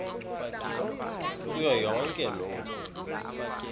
kuyo yonke loo